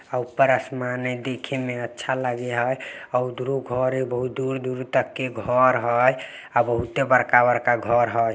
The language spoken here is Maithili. आ ऊपर आसमान है देखे में अच्छा लागे है। आ उधरो घर है बहुत दुर-दुर तक के घर है। आ बहुते बड़का-बड़का घर हई।